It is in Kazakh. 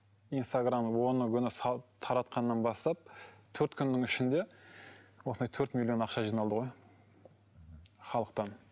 инстаграмға оны күні салып таратқаннан бастап төрт күннің ішінде осындай төрт миллион ақша жиналды ғой халықтан